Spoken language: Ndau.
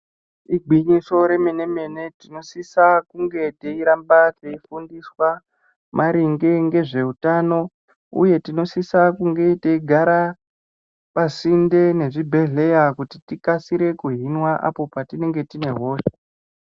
Igwinyiso remene mene tinosisa kunge teiramba teifundiswa maringe ngezveutano uye tinosisa kunge teigara pasinde nezvibhedhleya kuti tikasire kuhinwa apo patinenge tine hosha.